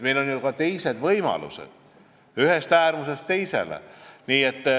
Meil on ju ka teisi võimalusi, ühest äärmusest teise.